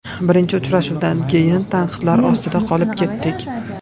Birinchi uchrashuvdan keyin tanqidlar ostida qolib ketdik.